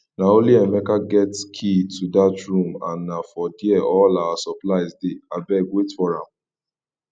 na only emeka get key to dat room and na for there all our supplies dey abeg wait for am